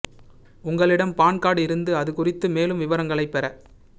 உங்களிடம் PAN card இருந்து அது குறித்த மேலும் விவரங்களைப் பெற